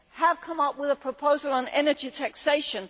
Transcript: has come up with a proposal on energy taxation